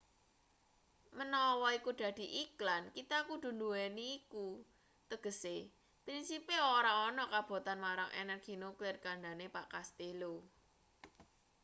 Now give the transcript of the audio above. menawa iku dadi iklan kita kudu nduweni iku tegese prinsipe ora ana kabotan marang energi nuklir kandhane pak castello